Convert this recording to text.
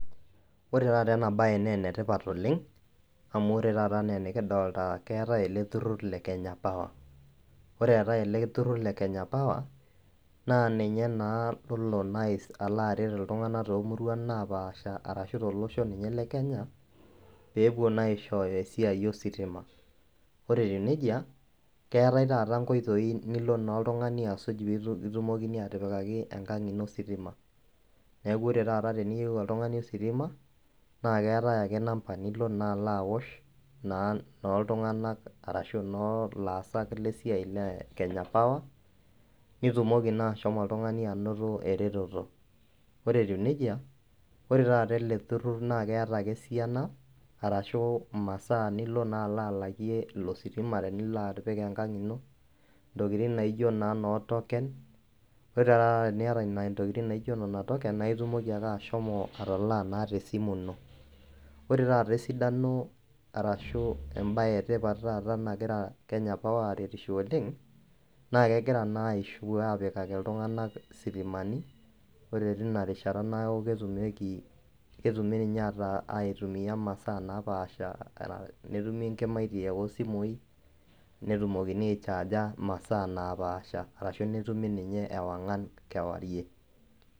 Ore taata enabae na enetipat oleng amu ore taata kidolta keetae eleturur le kenya power ore eetae eleturur le Kenya power naa ninye naaa olo aret ltunganak tomuruan napaasha pepuo aishooyo ositima ore etiu nejia keetae nai nkoitoi nilo oltungani asuk pekipikakini enkang ino ositima neaku ore peyieu oltungani ositima keetae ake namba nilo oltungani aas na laisiayak le Kenya power nitumoki naa ashomo oltungani ainoto eretoto ore si eleturur na keeta masaa nilo alakie ilositima tenipik enkang ino ntokitin naijo noo token na itumoki ashomo atalaa tesimu ino ore esidano ashu embae etipat nagira kenya power aretie ltunganak kegira apikikaki ltunganak sitimani netumi nkimaitie osimui netumoki aichaga masaa napaasha ashu netumi masaa napaasha